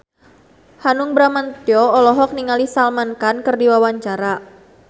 Hanung Bramantyo olohok ningali Salman Khan keur diwawancara